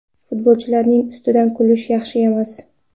Futbolchilarni ustidan kulish yaxshi emas.